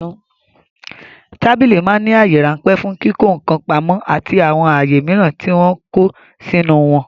Tábìlì ma ń ní àyè ráńpẹ̀ fún kíkọ́ ǹkan pamó àti àwọn àyè mìíràn tí wọ́n kọ́ sínú wọn